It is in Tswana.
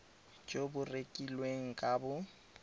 jo bo rekilweng ka bo